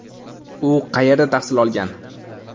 U qayerda tahsil olgan?